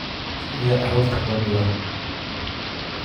Sidee carruurta loo dhibaa?